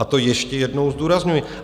A to ještě jednou zdůrazňuji.